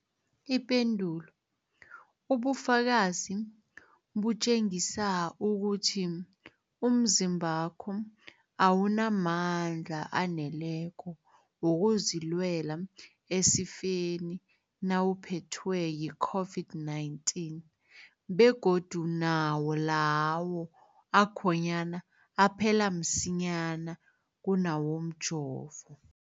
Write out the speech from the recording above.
Ipendulo, ubufakazi butjengisa ukuthi umzimbakho awunamandla aneleko wokuzilwela esifeni nawuphethwe yi-COVID-19, begodu nawo lawo akhonyana aphela msinyana kunawomjovo.